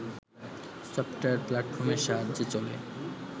software প্ল্যাটফর্মের সাহায্যে চলে